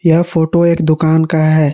यह फोटो एक दुकान का है।